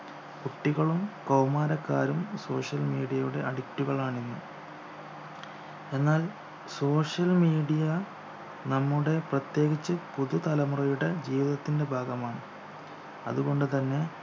കുട്ടികളും കൗമാരക്കാരും social media യുടെ addict കളാണ് ഇന്ന് എന്നാൽ social media നമ്മുടെ പ്രത്യേകിച്ചു പുതു തലമുറയുടെ ജീവിതത്തിന്റെ ഭാഗമാണ് അതുകൊണ്ട് തന്നെ